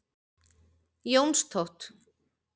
Jónstótt